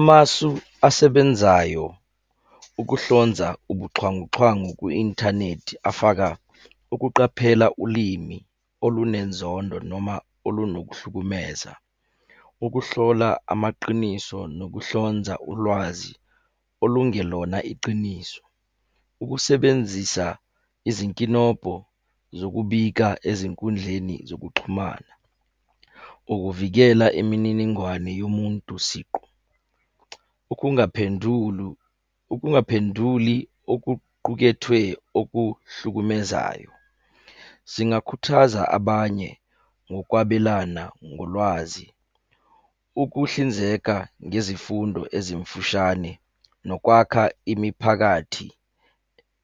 Amasu asebenzayo ukuhlonza ubuxhwanguxhwangu ku-inthanethi afaka, ukuqaphela ulimi olunenzondo noma olunokuhlukumeza. Ukuhlola amaqiniso nokuhlonza ulwazi olungelona iciniso. Ukusebenzisa izinkinobho zokubika ezinkundleni zokuxhumana. Ukuvikela imininingwane yomuntu siqu. Ukungaphendulu, ukungaphenduli okuqukethwe okuhlukumezayo. Singakhuthaza abanye ngokwabelana ngolwazi. Ukuhlinzeka ngezifundo ezimfushane, nokwakha imiphakathi